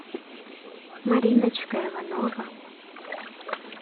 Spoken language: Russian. мариночка иванова